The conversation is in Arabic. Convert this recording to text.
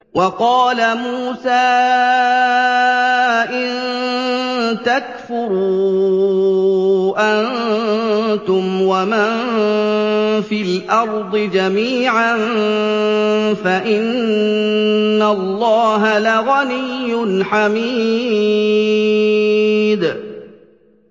وَقَالَ مُوسَىٰ إِن تَكْفُرُوا أَنتُمْ وَمَن فِي الْأَرْضِ جَمِيعًا فَإِنَّ اللَّهَ لَغَنِيٌّ حَمِيدٌ